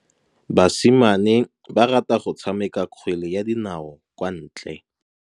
Basimane ba rata go tshameka kgwele ya dinaô kwa ntle.